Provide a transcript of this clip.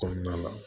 Kɔnɔna la